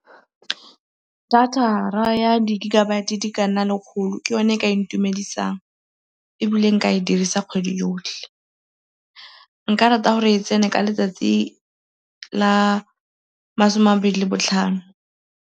Data ya di-gigabyte di ka nna lekgolo ke yone e ka intumedisang ebile nka e dirisa kgwedi yotlhe. Nka rata gore e tsene ka letsatsi la masome a mabedi le botlhano.